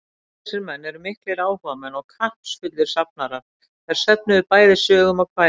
Báðir þessir menn voru miklir áhugamenn og kappsfullir safnarar, er söfnuðu bæði sögum og kvæðum.